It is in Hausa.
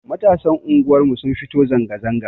Matasan unguwar mu sun fito zanga zanga